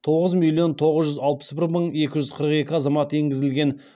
тоғыз миллион тоғыз жүз алпыс бір мың екі жүз қырық екі азамат енгізілген